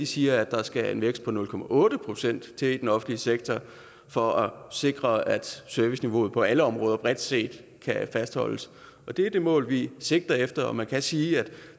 siger at der skal en vækst på nul procent til i den offentlige sektor for at sikre at serviceniveauet på alle områder bredt set kan fastholdes det er det mål vi sigter efter man kan sige at